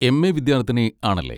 MA. വിദ്യാർത്ഥിനി ആണല്ലേ.